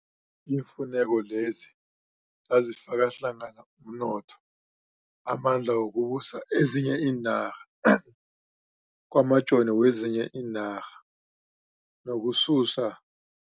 Iimfuneko lezi zazifaka hlangana umnotho, amandla wokubusa ezinye iinarha, kwamajoni wezinye iinarha nokususa